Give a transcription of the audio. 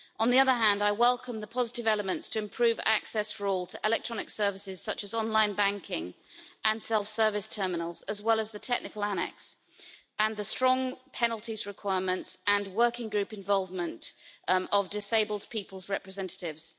On the other hand, I welcome the positive elements to improve access for all to electronic services such as online banking and self-service terminals, as well as the technical annex and the strong penalties requirements and working group involvement of disabled people's representatives.